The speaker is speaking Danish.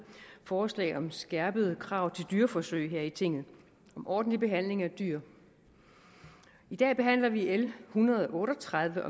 forslag om skærpede krav til dyreforsøg her i tinget om ordentlig behandling af dyr i dag behandler vi l en hundrede og otte og tredive